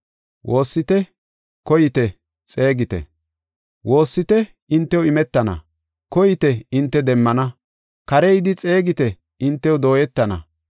“Woossite hintew imetana, koyite hinte demmana, kare yidi xeegite hintew dooyetana.